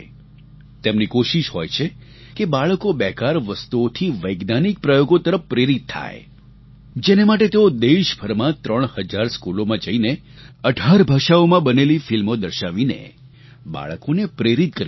તેમની કોશિશ હોય છે કે બાળકો બેકાર વસ્તુઓથી વૈજ્ઞાનિક પ્રયોગો તરફ પ્રેરિત થાય જેને માટે તેઓ દેશભરમાં ત્રણ હજાર સ્કૂલોમાં જઈને 18 ભાષાઓમાં બનેલી ફિલ્મો દર્શાવીને બાળકોને પ્રેરિત કરી રહ્યા છે